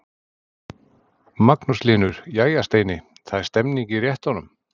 Magnús Hlynur: Jæja Steini, það er stemning í réttunum?